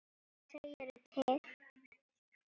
Hvað segirðu til?